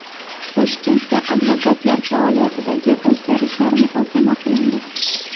Toshkentda advokatlar faoliyatidagi o‘zgarishlar muhokama qilindi.